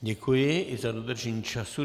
Děkuji, i za dodržení času.